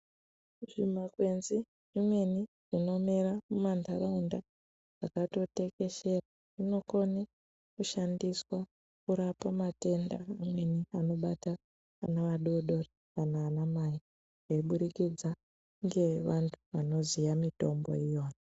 Zvimakwenzi zvemene zvinomera mumanharaunda zvinokone kushandiswa kurapa matenda anobatsira vana vadodori nana mai nekuburikidza ngevantu vanoziya mitombo.